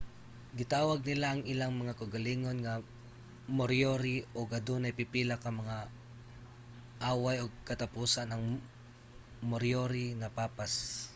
gitawag nila ang ilang mga kaugalingon nga moriori ug adunay pipila nga mga away ug sa katapusan ang moriori napapas